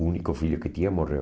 O único filho que tinha morreu.